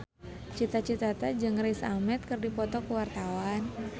Cita Citata jeung Riz Ahmed keur dipoto ku wartawan